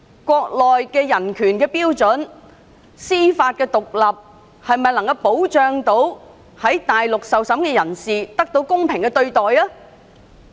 國內的人權標準和司法獨立程度能否保障在大陸受審的人士得到公平審訊？